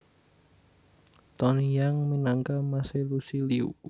Tony Yang minangka mas e Lusi Liu